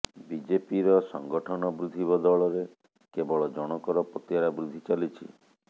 ବିଜେପିର ସଙ୍ଗଠନ ବୃଦ୍ଧି ବଦଳରେ କେବଳ ଜଣଙ୍କର ପତିଆରା ବୃଦ୍ଧି ଚାଲିଛି